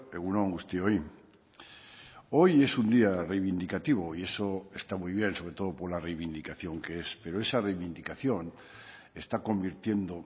egun on guztioi hoy es un día reivindicativo y eso está muy bien sobre todo por la reivindicación que es pero esa reivindicación está convirtiendo